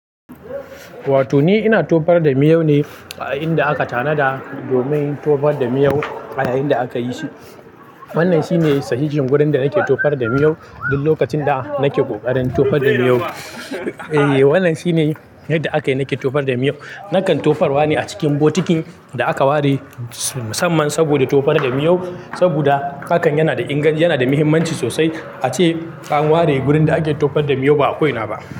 Wato ni ina tofar da miyau ne a inda aka tanada domin tofar da miyau a yayin da aka yi shi. Wannan shi ne sahihin wurin da nake tofar da miyau duk lokacin da nake kokarin tofar da miyau. E, wannan shine yadda aka yi nake tofar da miyau. Nakan tofar wa ne a cikin bokitin da aka ware musamman saboda tofar da miyau saboda hakan yana da inganci, yana da muhimmanci sosai. A ce an ware wurin da ake tofar da miyau ba a ko ina ba.